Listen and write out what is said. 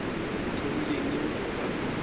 o thomile neng go ba